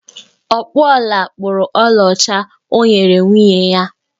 Ọkpụ ọla kpụrụ ọlaọcha o nyere nwunye ya